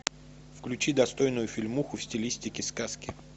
включи достойную фильмуху в стилистике сказки